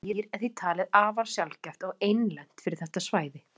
Þetta dýr er því talið afar sjaldgæft og einlent fyrir þetta svæði.